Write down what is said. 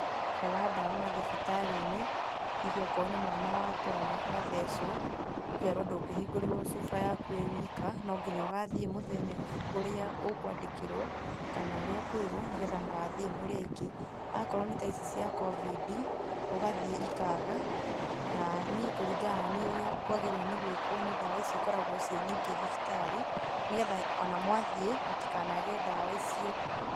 Kũaga ndawa mathibitari-inĩ hihi okorwo nĩ mwana watwara agathecwo, ũkerwo ndũgĩhigũrĩrwo cuba yaku wĩ wika no nginya ũgathie mũthenya ũrĩa ũkwandĩkĩrwo kana ũrĩa ũkwĩrwo mũgathie mũrĩ aingĩ, akorwo nĩ ta ici cia COVID ũgathie ĩkaga na niĩ kũringana na niĩ ũrĩa kwagĩrĩirwo nĩ gũikwo nĩ ndawa ici cikoragwo ciĩ nyingĩ thibitari nĩgetha ona mwathie mũtikanage ndawa icio.